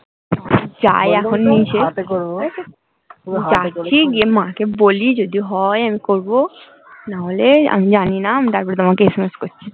যাই এখন নিচে, যাচ্ছি গিয়ে মাকে বলি যদি হয় আমি করবো নাহলে আমি জানি না আমি তারপর তোমাকে SMS করছি